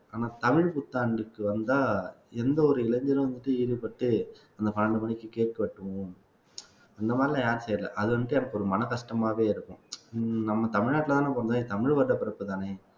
ஆனா தமிழ் புத்தாண்டுக்கு வந்தா எந்த ஒரு இளைஞனும் வந்து ஈடுபட்டு அந்த பன்னிரண்டு மணிக்கு cake வெட்டுவோம் அந்த மாதிரி எல்லாம் யாரும் செய்யல அது வந்துட்டு எனக்கு ஒரு மன கஷ்டமாவே இருக்கும் நம்ம தமிழ்நாட்டுல தானே பிறந்தோம் தமிழ் வருடப் பிறப்புதானே